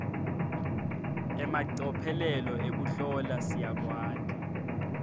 emacophelo ekuhlola siyakwati